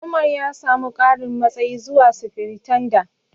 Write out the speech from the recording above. Umar ya samu ƙarin matsayi zuwa Sifiritanda.